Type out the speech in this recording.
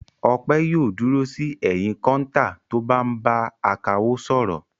Ọpẹ́ yóò dúró sí ẹ̀yìn kọ́ńtà tó bá ń bá akawó sọ̀rọ̀.